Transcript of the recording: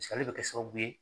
Paseke ale le bɛ kɛ sababu ye